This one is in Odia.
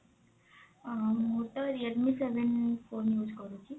ଅ ମୁଁ ତ realme seven phone use କରୁଛି।